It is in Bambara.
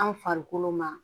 An farikolo ma